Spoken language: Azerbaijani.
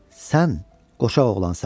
Sən qoçaq oğlansan.